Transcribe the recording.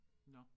Nåh